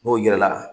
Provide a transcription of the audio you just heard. N'o yira la